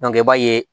i b'a ye